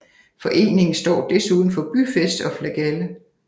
Foreningen står desuden for byfest og flagalle